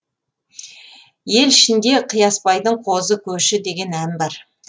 ел ішінде қиясбайдың қозы көші деген ән бар